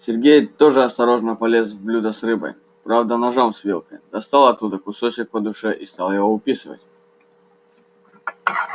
сергей тоже осторожно полез в блюдо с рыбой правда ножом с вилкой достал оттуда кусочек по душе и стал его уписывать